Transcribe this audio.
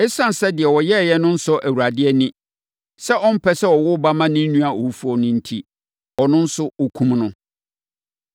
Esiane sɛ deɛ ɔyɛeɛ no nsɔ Awurade ani, sɛ ɔmpɛ sɛ ɔwo ba ma ne nua owufoɔ no enti, ɔno nso, ɔkumm no.